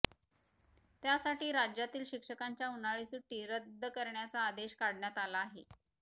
त्यासाठी राज्यातील शिक्षकांच्या उन्हाळी सुटी रद्द करण्याता आदेश काढण्यात आला आहे